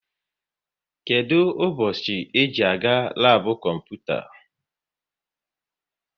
Kedụ ụbọchị ị ji-aga labu kọmputa?